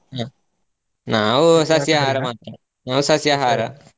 ಹ್ಮ್ ನಾವು ಸಸ್ಯಹಾರ ಮಾತ್ರ ನಾವು ಸಸ್ಯಹಾರ.